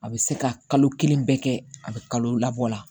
A bɛ se ka kalo kelen bɛɛ kɛ a bɛ kalo labɔ la